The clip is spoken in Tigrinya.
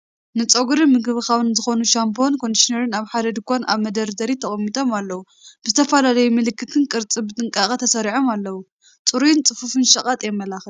ንጸጉሪ ምንክብኻብ ዝኸውን ሻምፖን ኮንዲሽነርን ኣብ ሓደ ድኳን ኣብ መደርደሪ ተቐሚጦም ኣለዉ። ብዝተፈላለየ ምልክትን ቅርጽን ብጥንቃቐ ተሰሪዖም ኣለዉ። ጽሩይን ጽፉፍን ሸቐጥ የመላኽት።